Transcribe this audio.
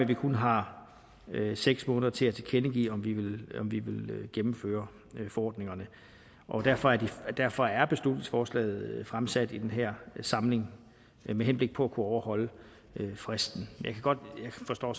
vi kun har seks måneder til at tilkendegive om vi vil gennemføre forordningerne derfor derfor er beslutningsforslaget fremsat i den her samling med henblik på at kunne overholde fristen jeg forstår